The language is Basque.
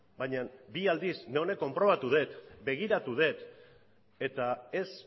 baina bi aldiz neronek konprobatu det begiratu det eta ez